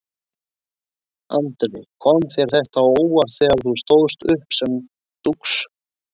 Andri: Kom þér þetta á óvart þegar þú stóðst uppi sem dúx?